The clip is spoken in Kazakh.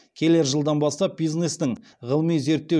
келер жылдан бастап бизнестің ғылыми зерттеу